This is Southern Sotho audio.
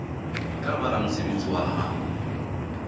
tla ba ramosebetsi wa hao